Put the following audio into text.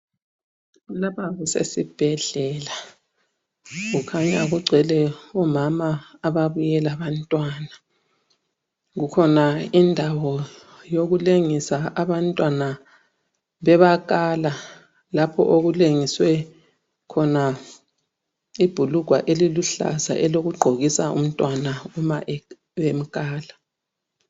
Lapha kusesibhedlela, kukhanya kugcwele omama ababuye labantwana. Kukhona indawo yokulengisa abantwana bebakala. Lapho okulengiswe khona ibhulugwa eliluhlaza elokugqokisa umntwana uma bemkala.